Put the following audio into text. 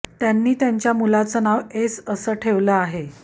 त्यांनी त्यांच्या मुलाचं नाव एस असं ठेवलं आहे